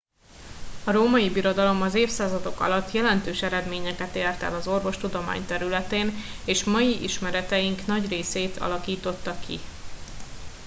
a római birodalom az évszázadok alatt jelentős eredményeket ért el az orvostudomány területén és mai ismereteink nagy részét alakította ki